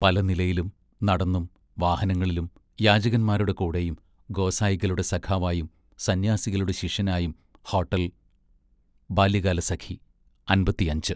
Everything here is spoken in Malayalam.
പല നിലയിലും നടന്നും വാഹനങ്ങളിലും യാചകന്മാരുടെ കൂടെയും ഗോസായികളുടെ സഖാവായും സന്ന്യാസികളുടെ ശിഷ്യനായും ഹോട്ടൽ ബാല്യകാലസഖി അൻപത്തിയഞ്ച്